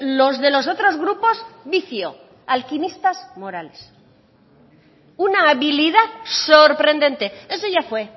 los de los otros grupos vicio alquimistas morales una habilidad sorprendente eso ya fue